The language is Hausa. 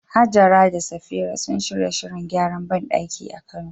Hajara da Safira sun shirya shirin gyaran bandaki a Kano